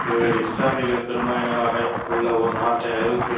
இவர்கள் இஸ்லாமியர்கள் பெரும்பான்மையினராக உள்ள ஓர் நாட்டை ஐரோப்பிய